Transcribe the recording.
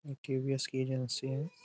ये टी.वी.एस. की एजेंसी है।